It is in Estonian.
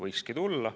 Võikski nii olla.